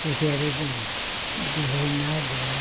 Porque era do do reinado, né?